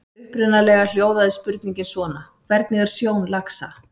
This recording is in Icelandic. Upprunalega hljóðaði spurningin svona: Hvernig er sjón laxa?